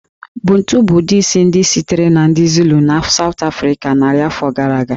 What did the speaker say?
Bantu bụ ụdị isi ndị sitere na ndị Zulu na South Africa narị afọ gara aga